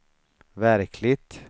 verkligt